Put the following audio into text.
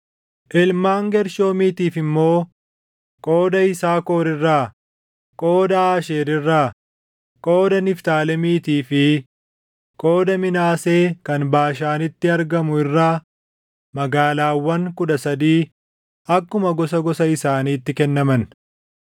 Ilmaan Geershoomiitiif immoo qooda Yisaakor irraa, qooda Aasheer irraa, qooda Niftaalemiitii fi qooda Minaasee kan Baashaanitti argamu irraa magaalaawwan kudha sadii akkuma gosa gosa isaaniitti kennaman.